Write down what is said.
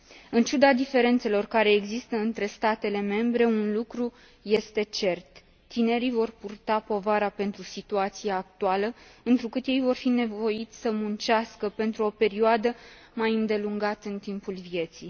În ciuda diferențelor care există între statele membre, un lucru este cert tinerii vor purta povara pentru situația actuală, întrucât ei vor fi nevoiți să muncească pentru o perioadă mai îndelungată în timpul vieții.